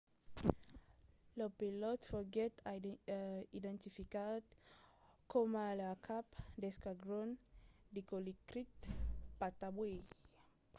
lo pilòt foguèt identificat coma lo cap d'esquadron dilokrit pattawee